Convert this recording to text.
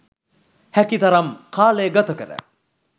හැකි තරම් කාලය ගත කර